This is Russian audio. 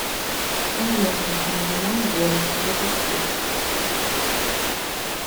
кинолента между нами горы запусти